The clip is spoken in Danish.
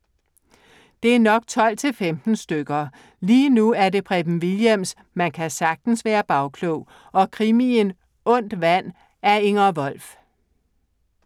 Det er nok 12-15 stykker. Lige nu er det Preben Wilhjelms "Man kan sagtens være bagklog" og krimien Ondt vand af Inger Wolf.